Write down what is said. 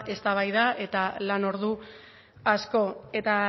eztabaida eta lan ordu asko eta